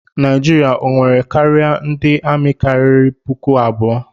Naijiria o nwere karịa ndị amị karịrị puku abụọ?